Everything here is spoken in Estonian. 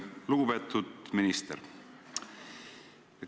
Lugupeetud minister!